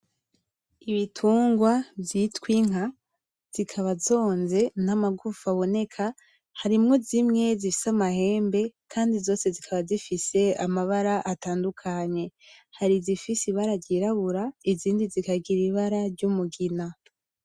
Ibitungwa vyitwa inka zikaba zonze n'amagufa aboneka harimwo zimwe zifise amahembe kandi zose zikaba zifise amabara atandukanye, hari izifise ibara ryirabura izindi zikagira ibara ryumugina.